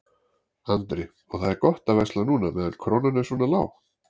Andri: Og það er gott að versla núna meðan krónan er svona lág?